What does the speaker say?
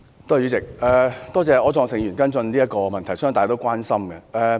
多謝柯創盛議員跟進這項問題，相信是大家也關心的。